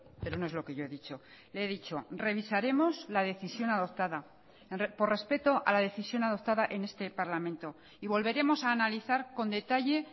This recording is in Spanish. pero no es lo que yo he dicho le he dicho revisaremos la decisión adoptada por respeto a la decisión adoptada en este parlamento y volveremos a analizar con detalle